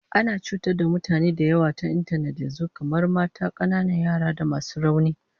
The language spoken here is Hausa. Ana cutar da mutane da yawa ta intanet yanzu, kamar mata, kananan yara da masu rauni